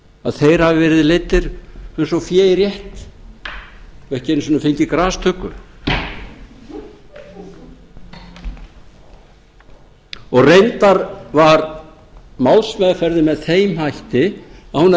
að þeir hafi verið leiddir eins og fé í rétt og ekki einu sinni fengið grastuggu reyndar var málsmeðferðin með þeim hætti að hún er